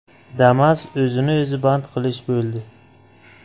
Damas o‘zini o‘zi band qilish bo‘ldi.